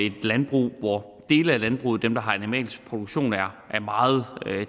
et landbrug hvor dele af landbruget dem der har animalsk produktion er meget